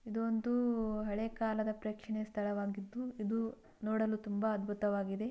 ಇದು ಒಂದು ಹಳೆಕಾಲದ ಪ್ರೇಕ್ಷಣೀಯ ಸ್ಥಳವಾಗಿದ್ದು ಇದು ನೋಡಲು ತುಂಬಾ ಅದ್ಭುತವಾಗಿದೆ.